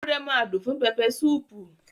Ewúrẹ́ máa dùn fún pẹpẹsúpù